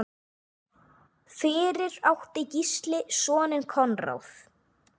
Fyrir átti Gísli soninn Konráð.